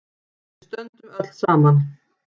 Við stöndum öll saman.